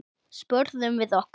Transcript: spurðum við okkur.